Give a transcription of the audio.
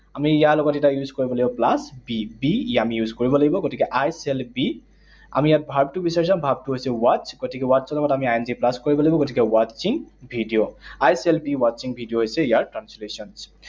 আমি ইয়াৰ লগত এতিয়া use কৰিব লাগিব plus be, be আমি use কৰিব লাগিব। গতিকে I shall be, আমি ইয়াত verb টো বিচাৰি চাওঁ, verb টো হৈছে watch, গতিকে watch ৰ লগত আমি I N G plus কৰিব লাগিব। গতিকে watching video. I shall be watching video হৈছে ইয়াৰ translation